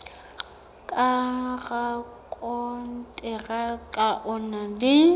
ka rakonteraka o na le